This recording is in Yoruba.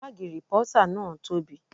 Bààgì rìpọ́tà náà tobi